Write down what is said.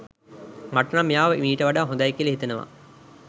මට නම් මෙයාව ඊට වඩා හොඳයි කියල හිතෙනවා